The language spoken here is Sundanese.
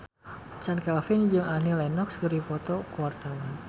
Chand Kelvin jeung Annie Lenox keur dipoto ku wartawan